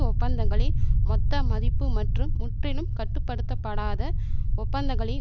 ஒப்பந்தங்களின் மொத்த மதிப்பு மற்றும் முற்றிலும் கட்டுப்படுத்தப்படாத ஒப்பந்தங்களின்